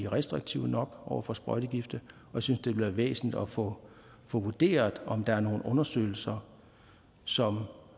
restriktive nok over for sprøjtegifte jeg synes det vil være væsentligt at få vurderet om der er nogle undersøgelser som